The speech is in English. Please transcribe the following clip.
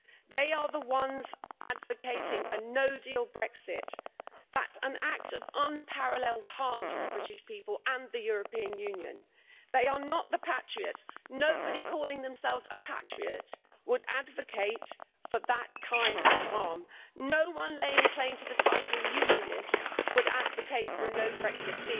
They are the ones advocating a no deal Brexit, and that's an act of unparalleled harm to the British people and the European Union. They are not the patriots. Nobody calling themselves a patriot would advocate that kind of harm. No one laying claim to the title unionist would advocate a no deal Brexit.